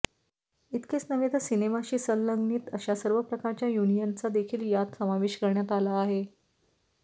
इतकेच नव्हे तर सिनेमाशी संलग्नित अशा सर्व प्रकारच्या युनियनचा देखील यात समावेश करण्यात आला आहे